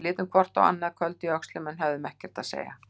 Við litum hvort á annað, köld í öxlum, en höfðum ekkert að segja.